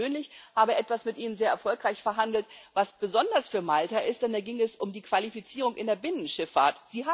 Und ich persönlich habe etwas mit Ihnen sehr erfolgreich verhandelt, was besonders für Malta ist, denn da ging es um die Qualifizierung in der Binnenschifffahrt.